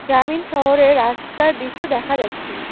গ্রামীণ শহরের রাস্তার দৃশ্য দেখা যাচ্ছে।